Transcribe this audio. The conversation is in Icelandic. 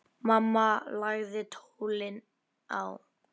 Mamma lagði tólið á.